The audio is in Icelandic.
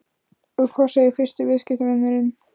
Og hvað segir fyrsti viðskiptavinurinn?